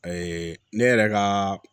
ne yɛrɛ ka